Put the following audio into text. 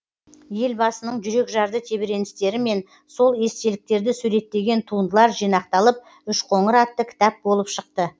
елбасының жүрекжарды тебіреністері мен сол естеліктерді суреттеген туындылар жинақталып үшқоңыр атты кітап болып шықты